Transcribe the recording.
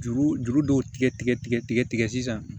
Juru juru dɔw tigɛ tigɛ tigɛ tigɛ tigɛ sisan